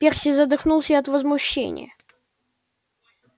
перси задохнулся от возмущения